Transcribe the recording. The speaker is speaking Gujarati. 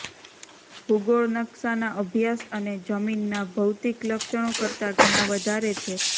ભૂગોળ નકશાના અભ્યાસ અને જમીનના ભૌતિક લક્ષણો કરતાં ઘણાં વધારે છે